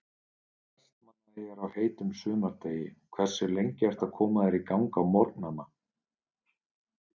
Vestmannaeyjar á heitum sumardegi Hversu lengi ertu að koma þér í gang á morgnanna?